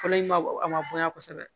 Fɔlɔ in ma a ma bonya kosɛbɛ